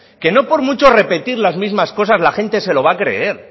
que no por mucho repetir las mismas cosas la gente se lo va a creer